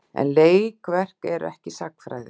En leikverk eru ekki sagnfræði.